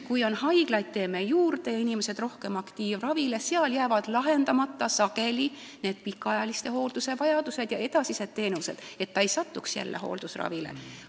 Kui me teeme haiglaid juurde ja rohkem inimesi on aktiivravil, siis jäävad sageli lahendamata pikaajalise hooldusega seotud probleemid ja inimene ei saa edasisi teenuseid, et ta ei satuks jälle hooldusravile.